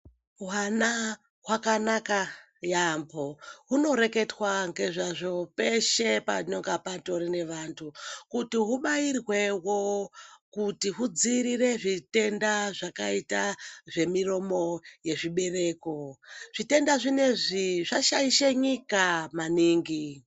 Hwana hwakanaka yaambo. Hunoreketwa ngezvazvo peshe panonga patori nevantu kuti hubairwewo kuti hudziirire zvitenda zvakaita zvemiromo yezvibereko. Zvitenda zvinezvi zvashaishe nyika maningi.